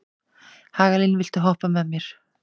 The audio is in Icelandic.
Hagalín, viltu hoppa með mér?